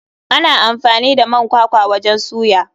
Ana amfani da man kwakwa wajen soya.